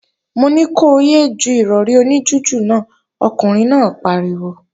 Mo ní ko yé é ju Ìrọ̀rí oní jújù náà, ọkùnrin náà pariwo!